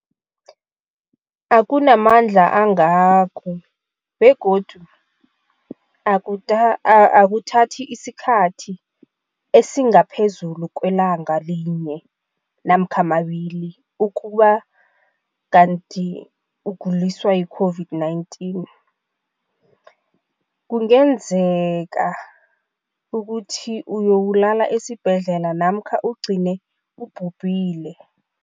Akunamandla angako begodu akuthathi isikhathi esingaphezulu kwelanga linye namkha mabili, ukube kanti ukuguliswa yi-COVID-19 kungenzega ukuthi uyokulala esibhedlela namkha ugcine ubhubhile.